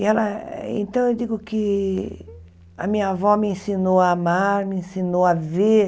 E ela então, eu digo que a minha avó me ensinou a amar, me ensinou a ver.